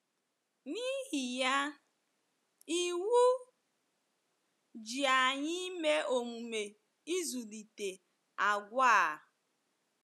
N’ihi ya, iwu ji anyị ime omume ịzụlite àgwà a.